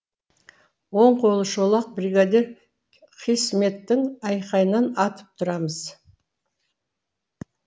оң қолы шолақ бригадир қисметтің айқайынан атып тұрамыз